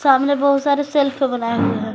सामने बहुत सारे सेल्फ बनाए हुए है।